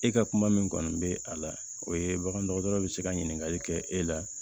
E ka kuma min kɔni bɛ a la o ye bagan dɔgɔtɔrɔ bɛ se ka ɲininkali kɛ e la